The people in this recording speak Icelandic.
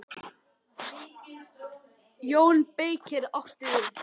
JÓN BEYKIR: Áttu við.